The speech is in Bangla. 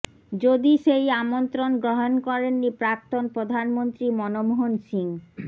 যদি সেই আমন্ত্রণ গ্রহণ করেননি প্রাক্তন প্রধানমন্ত্রী মনমোহন সিং